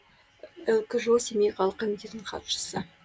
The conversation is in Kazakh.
лкжо семей қалалық комитетінің хатшысы